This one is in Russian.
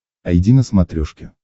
айди на смотрешке